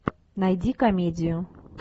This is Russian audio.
найди комедию